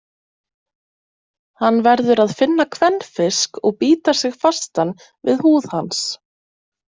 Hann verður að finna kvenfisk og bíta sig fastan við húð hans.